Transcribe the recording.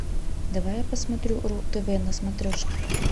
давай я посмотрю ру тв на смотрешке